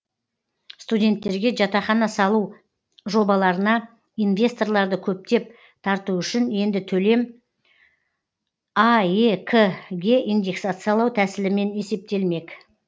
студенттерге жатақхана салу жобаларына инвесторларды көптеп тарту үшін енді төлем аек ке индексациялау тәсілімен есептелмек